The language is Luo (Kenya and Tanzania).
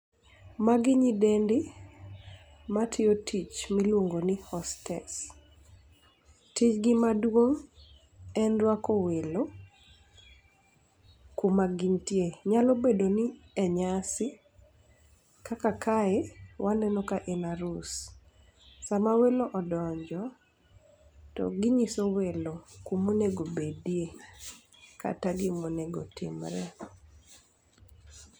Magi nyidendi, ma tiyo tich miluongo ni hostess. Tijgi maduong' en rwako welo kuma gintie. Nyalo bedo ni e nyasi kaka kae, waneno ka en arus. Sama welo odonjo, to ginyiso welo kuma onego obedie, kata gima onego otimore.